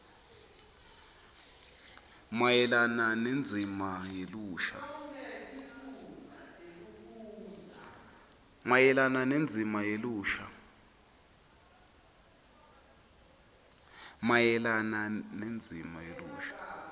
mayelana nendzima yelusha